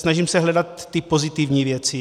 Snažím se hledat ty pozitivní věci.